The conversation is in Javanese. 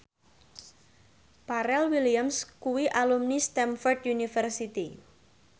Pharrell Williams kuwi alumni Stamford University